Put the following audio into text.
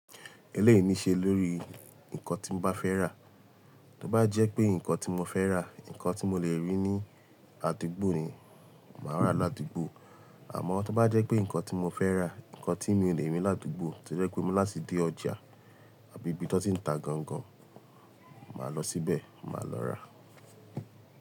Ẹ̀ léèyí ní ṣe lórí nǹkan tí n bá fẹ́ rà. Tó bá jẹ́ pé nǹkan tí mo fẹ́ rà, nǹkan tí mo lè rí ní àdúgbò ni, màá rà ládùúgbò. Àmọ́ tó bá jẹ́ pé nǹkan tí mo fẹ́ rà, nǹkan tí mi ò lè rí ládùúgbò tí o jẹ́ pé mo láti dé ọjà àbí ibi tí wọ́n ti ń ta gan gan, màá lọ síbẹ̀, màá lọ rà.